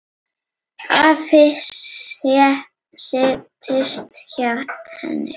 Afi settist hjá henni.